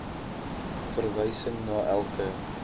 verwysing na elke